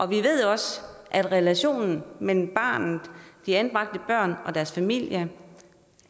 vi ved også at relationen mellem de anbragte børn og deres familier